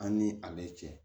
An ni ale cɛ